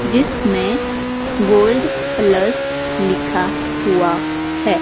जिसमें gold plus लिखा हुआ है।